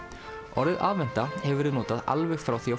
orðið aðventa hefur verið notað alveg frá því á